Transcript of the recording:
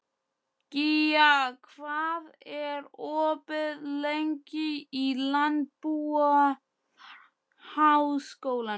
Gía, hvað er opið lengi í Landbúnaðarháskólanum?